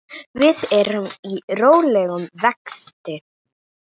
Við erum í rólegum vexti.